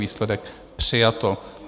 Výsledek - přijato.